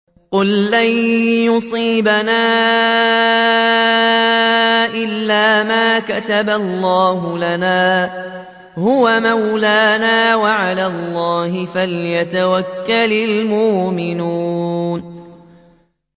قُل لَّن يُصِيبَنَا إِلَّا مَا كَتَبَ اللَّهُ لَنَا هُوَ مَوْلَانَا ۚ وَعَلَى اللَّهِ فَلْيَتَوَكَّلِ الْمُؤْمِنُونَ